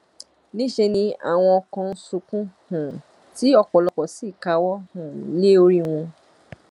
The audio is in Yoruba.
níṣẹ ni àwọn kan ń sunkún um tí ọpọlọpọ sì káwọ um lé orí wọn